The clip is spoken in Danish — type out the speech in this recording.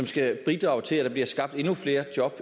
skal bidrage til at der bliver skabt endnu flere job